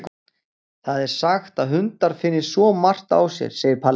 Það er sagt að hundar finni svo margt á sér, segir Palli.